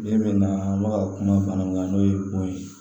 Den min nana an bɛ ka kuma bana min kan n'o ye bon ye